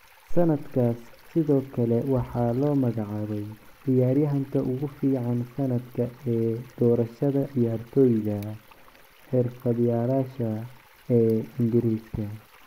Sannadkaas sidoo kale waxaa loo magacaabay ciyaaryahanka ugu fiican sanadka ee doorashada ciyaartoyda xirfadlayaasha ee Ingiriiska.